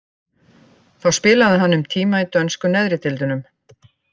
Þá spilaði hann um tíma í dönsku neðri deildunum.